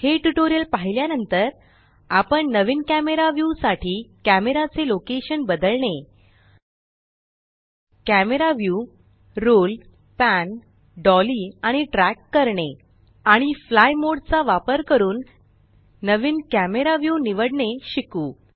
हे ट्यूटोरियल पाहिल्या नंतर आपण नवीन कॅमरा व्यू साठी कॅमरा चे लोकेशन स्थळ बदलणे camera view roll pan dolly आणि ट्रॅक करणे आणि फ्लाइ मोड चा वापर करून नवीन कॅमरा व्यू निवडणे शिकू